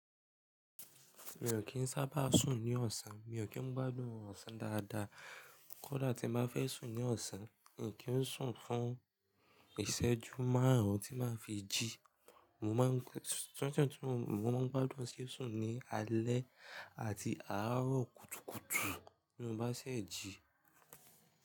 Mi ò kí ń sábà sùn ní ọ̀sán, mi ò kí ń gbádùn orun ọ̀sán dáadáa. Kódà tí n bá fẹ́ sùn ní ọ̀sán, mi ò kì í ń sùn fún ìṣẹ́jú márùn-ún tí máa fi jí. Mo máa ń, máa ń gbádùn sísùn ni alẹ́ àti àárọ̀ kùtùkùtù tí mo bá ṣẹ̀ jí.